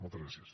moltes gràcies